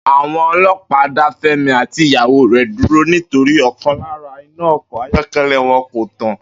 Àwo̩n o̩ló̩pàá dá Fé̩mi àti ìyàwó rè̩ dúró nítorí ò̩kan lára iná o̩kò̩ ayó̩ké̩lé̩ wo̩n kò tàn